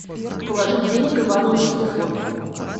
положить денег ивану на телефон